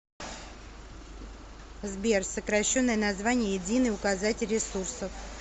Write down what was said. сбер сокращенное название единый указатель ресурсов